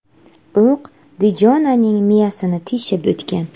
O‘q Dijonaning miyasini teshib o‘tgan.